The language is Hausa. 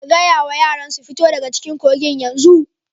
Ka gaya wa yaran su fito daga cikin kogin yanzu!